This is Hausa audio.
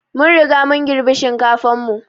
Mun Riga mun girbi shinkafan mu.